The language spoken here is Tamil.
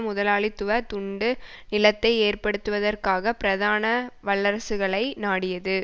முதலாளித்துவ துண்டு நிலத்தை ஏற்படுத்துவதற்காக பிரதான வல்லரசுகளை நாடியது